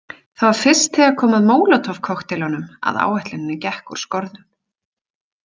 Það var fyrst þegar kom að Molotov- kokkteilunum að áætlunin gekk úr skorðum.